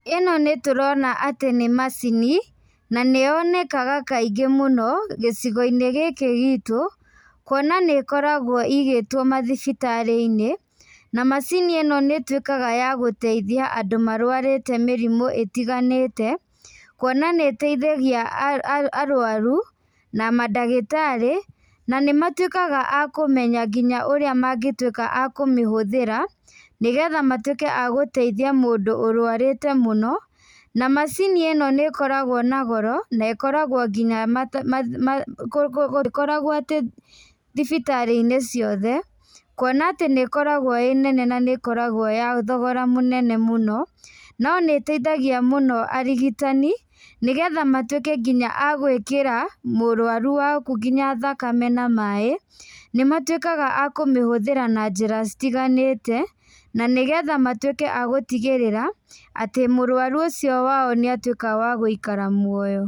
Ĩno nĩ tũrona atĩ nĩ macini, na nĩ yonekaga kaingĩ mũno, gĩcigo-inĩ gĩkĩ gitũ, kuona nĩ ĩkoragwo ĩigĩtwo mathibitarĩ-inĩ, na macini ĩno nĩ ĩtuĩkaga ya gũteithia andũ marũarĩte mĩrĩmũ ĩtiganĩte, kuona nĩ ĩteithagia arũaru, na mandagĩtarĩ, na nĩ matuĩkaga a kũmenya nginya ũrĩa mangĩtuĩka a kũmĩhũthĩra, nĩgetha matuĩke a gũteithia mũndũ ũrũarĩte mũno. Na macini ĩno nĩ ĩkoragwo na goro, na ĩkoragwo nginya ndĩkoragwo atĩ thibitarĩ-inĩ ciothe, kuona atĩ nĩ ĩkoragwo ĩĩ nene na nĩ ĩkoragwo ya thogora mũnene mũno, no nĩ ĩteithagia mũno arigitani, nĩgetha matuĩke nginya a gwĩkĩra mũrũaru waku nginya thakame na maĩ, nĩ matuĩkaga a kũmĩhũthĩra na njĩra citiganĩte, na nĩgetha matuĩke agũtigĩrĩra, atĩ mũrũaru ũcio wao nĩatuĩka wa gũikara muoyo.